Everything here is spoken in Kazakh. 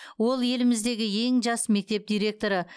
ол еліміздегі ең жас мектеп директоры